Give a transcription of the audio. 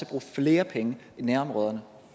bruge flere penge i nærområderne